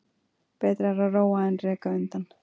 Betra er að róa en reka undan.